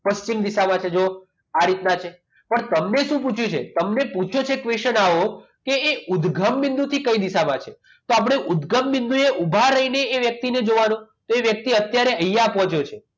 પશ્ચિમ દિશામાં છે જુઓ આ રીતના છે પણ તમને શું પૂછ્યું છે તમને પૂછ્યું છે question આવો કે એ ઉદગમ બિંદુ થી કઈ દિશામાં છે તો આપણે ઉદગમબિંદુ થી ઊભા રહીને એ વ્યક્તિને જોવાનો તો એ વ્યક્તિ અત્યારે અહીંયા પહોંચ્યો છે